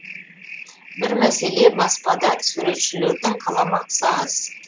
бір мәселе баспада суретшілердің қаламақысы аз